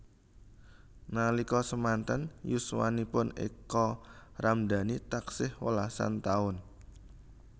Nalika semanten yuswanipun Eka Ramdani taksih welasan taun